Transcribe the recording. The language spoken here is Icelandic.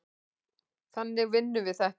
Þannig vinnum við þetta.